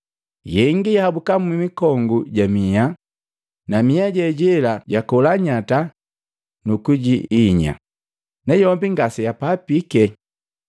Yengi yahabuki mmikongo ja miha, na mia jejela jakola nyata kujiinya na yombi ngase yapapike.